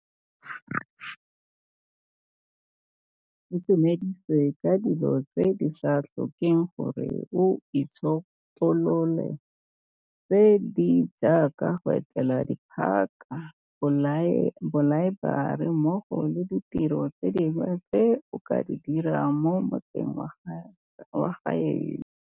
Itumedise ka dilo tse di sa tlhokeng gore o itšhotolole, tse di jaaka go etela diphaka, dilaeborari mmogo le ditiro tse dingwe tse o ka di dirang mo motseng wa gaeno.